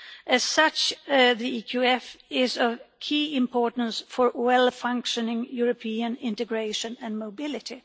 As such, the EQF is of key importance for well-functioning European integration and mobility.